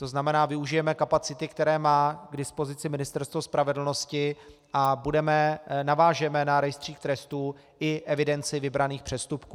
To znamená, využijeme kapacity, které má k dispozici Ministerstvo spravedlnosti, a navážeme na rejstřík trestů i evidenci vybraných přestupků.